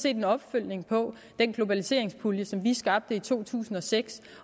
en opfølgning på den globaliseringspulje som vi skabte i to tusind og seks